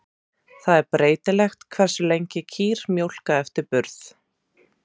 Það er breytilegt hversu lengi kýr mjólka eftir burð.